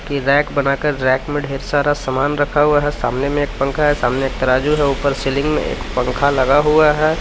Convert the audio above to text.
Rack बनाकर rack में ढेर सारा समान रखा हुआ है सामने में एक पंखा है सामने एक तराजू है ऊपर सीलिंग में एक पंख लगा हुआ है।